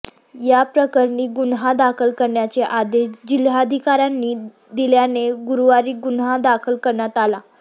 या प्रकरणी गुन्हा दाखल करण्याचे आदेश जिल्हाधिकाऱ्यांनी दिल्याने गुरुवारी गुन्हा दाखल करण्यात आला